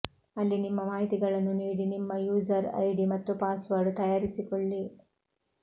ಅಲ್ಲಿ ನಿಮ್ಮ ಮಾಹಿತಿಗಳನ್ನು ನೀಡಿ ನಿಮ್ಮ ಯೂಸರ್ ಐಡಿ ಮತ್ತು ಪಾಸ್ವರ್ಡ್ ತಯಾರಿಸಿಕೊಳ್ಳಿ